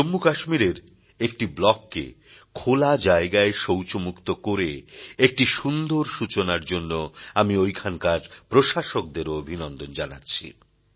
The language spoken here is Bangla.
জম্মু কাশ্মীরের একটি ব্লককে খোলা জায়গায় শৌচমুক্ত করে একটি সুন্দর সূচনার জন্য আমি ঐখানকার প্রশাসকদেরও অভিনন্দন জানাচ্ছি